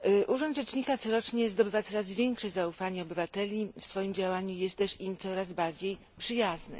Urząd rzecznika corocznie zdobywa coraz większe zaufanie obywateli, w swoim działaniu jest też im coraz bardziej przyjazny.